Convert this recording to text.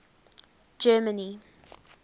germany